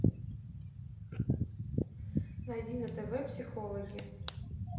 найди на тв психологи